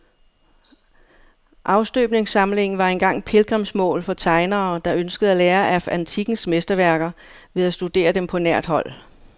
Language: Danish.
Afstøbningssamlingen var engang pilgrimsmål for tegnere, der ønskede at lære af antikkens mesterværker ved at studere dem på nært hold.